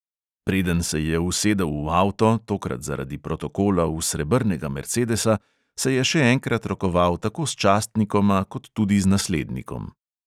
Preden se je usedel v avto, tokrat zaradi protokola v srebrnega mercedesa, se je še enkrat rokoval tako s častnikoma kot tudi naslednikom.